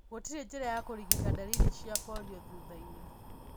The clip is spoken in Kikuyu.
Gũtirĩ njĩra ya kũrigita ndariri cia polio thutha-inĩ.